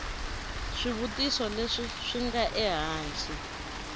swivutiso leswi swi nga ehansi